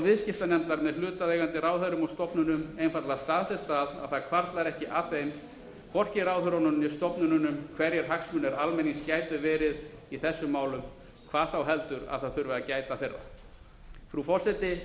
viðskiptanefndar með hlutaðeigandi ráðherrum og stofnunum einfaldlega staðfest að það hvarflar ekki að þeim hvorki ráðherrunum né stofnununum hverjir hagsmunir almennings gætu verið í þessum málum hvað þá heldur að það þurfi að gæta þeirra frú forseti